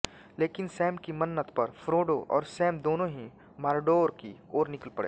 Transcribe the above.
लेकिन सैम की मन्नत पर फ़्रोडो और सैम दोनो ही मॉर्डोर की ओर निकल पड़े